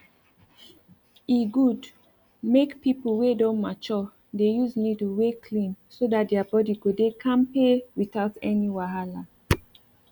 e good make people wey don mature dey use needle wey clean so that their body go dey kampe without any wahala